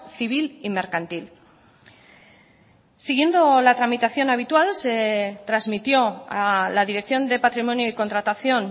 civil y mercantil siguiendo la tramitación habitual se transmitió a la dirección de patrimonio y contratación